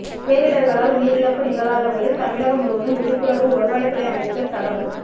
பேரிடா்களால் உயிரிழப்பு நிகழாத வகையில் தமிழகம் முழுவதும் விழிப்புணா்வு வருவாய்த் துறை அமைச்சா் தகவல்